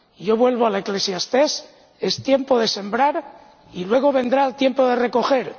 yo vuelvo al Eclesiastés es tiempo de sembrar y luego vendrá el tiempo de recoger.